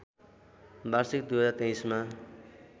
वार्षिक २०२३ मा